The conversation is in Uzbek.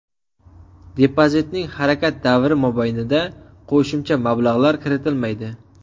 Depozitning harakat davri mobaynida qo‘shimcha mablag‘lar kiritilmaydi.